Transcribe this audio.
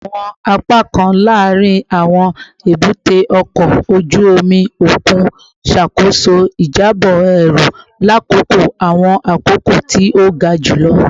Awọn apakan laarin awọn ebute oko oju omi okun ṣakoso ijabọ eru lakoko awọn akoko ti o ga julọ